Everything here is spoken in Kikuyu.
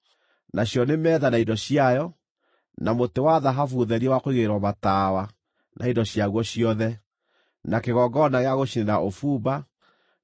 nacio nĩ metha na indo ciayo, na mũtĩ wa thahabu therie wa kũigĩrĩrwo matawa na indo ciaguo ciothe, na kĩgongona gĩa gũcinĩra ũbumba, na